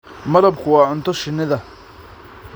Malabku waa cunto shinnida.